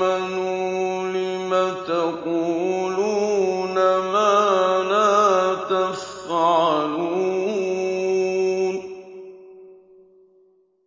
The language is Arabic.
آمَنُوا لِمَ تَقُولُونَ مَا لَا تَفْعَلُونَ